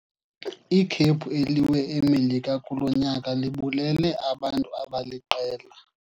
Ikhephu eliwe eMelika kulo nyaka libulele abantu abaliqela.